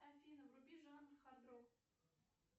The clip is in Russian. афина вруби жанр хард рок